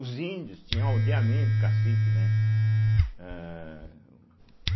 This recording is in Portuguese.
Os índios tinham aldeamento, cacique, né? âhh